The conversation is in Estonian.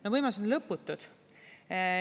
No võimalused on lõputud.